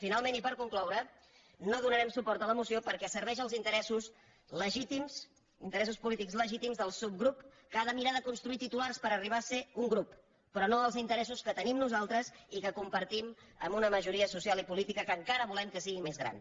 finalment i per concloure no donarem suport a la moció perquè serveix als interessos polítics legítims del subgrup que ha de mirar de construir titulars per arribar a ser un grup però no als interessos que tenim nosaltres i que compartim amb una majoria social i política que encara volem que sigui més gran